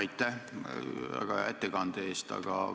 Aitäh väga hea ettekande eest!